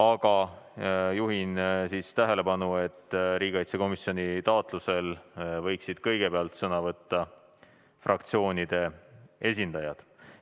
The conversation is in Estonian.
Aga juhin tähelepanu, et riigikaitsekomisjoni taotlusel võiksid kõigepealt sõna võtta fraktsioonide esindajad.